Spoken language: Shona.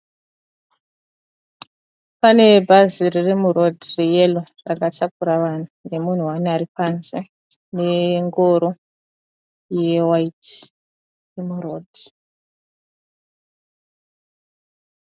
Pane bhazi riri muroad reyellow rakatakura vanhu, nemunhu one ari panze nengoro yewhite iri muroad.